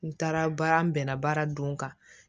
N taara baara n bɛnna baara don kan